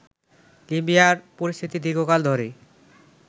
লিবিয়ার পরিস্থিতি দীর্ঘকাল ধরে